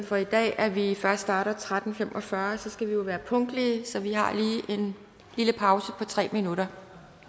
for i dag at vi først starter klokken tretten fem og fyrre skal vi jo være punktlige så vi har lige en lille pause på tre minutter